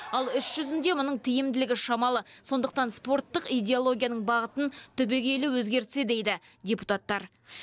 ал іс жүзінде мұның тиімділігі шамалы сондықтан спорттық идеологияның бағытын түбегейлі өзгертсе дейді депутаттар